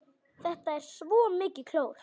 Þetta er svo mikið klór.